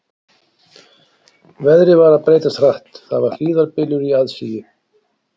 Veðrið var að breytast hratt, það var hríðarbylur í aðsigi.